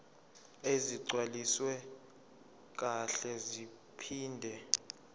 ezigcwaliswe kahle zaphinde